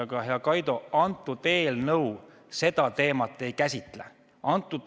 Aga, hea Kaido, eelnõu seda teemat ei käsitle.